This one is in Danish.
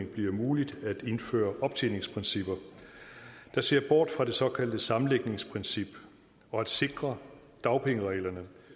bliver muligt at indføre optjeningsprincipper der ser bort fra det såkaldte sammenlægningsprincip og at sikre dagpengereglerne